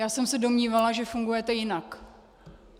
Já jsem se domnívala, že fungujete jinak.